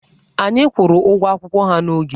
Anyị kwụrụ ụgwọ akwụkwọ ha n'oge.